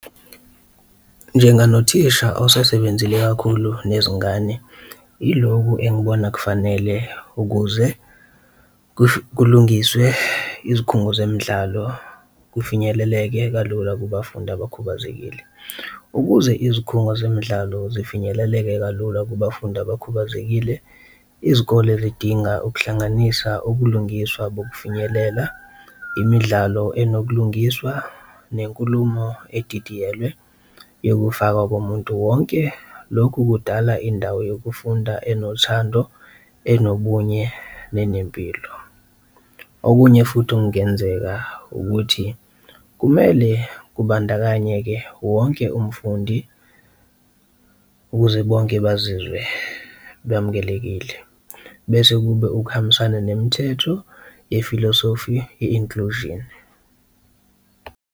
Njenganothisha osasebenzile kakhulu nezingane iloku engibona kufanele ukuze kulungiswe izikhungo zemidlalo kufinyeleleke kalula kubafundi abakhubazekile. Ukuze izikhungo zemidlalo zifinyeleleke kalula kubafundi abakhubazekile izikole zidinga ukuhlanganisa ubulungiswa bokufinyelela, imidlalo enobulungiswa, nenkulumo edidiyelwe yokufakwa komuntu wonke, lokhu kudala indawo yokufunda enothando, enomunye nenempilo. Okunye futhi okungenzeka ukuthi kumele kubandakanyeke wonke umfundi ukuze bonke bazizwe bamukelekile, bese kube ukuhambisana nomthetho yefilosofi ye-inclusion.